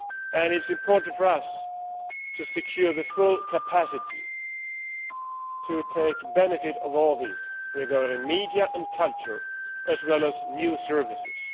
It is important for us to secure the full capacity to take advantage of all this, for media and culture as well as for new services.